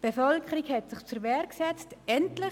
Die Bevölkerung hat sich zur Wehr gesetzt – endlich.